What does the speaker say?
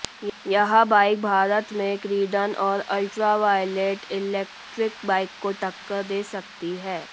यह बाइक भारत में क्रीडन और अल्ट्रावायलेट इलेक्ट्रिक बाइक को टक्कर दे सकती है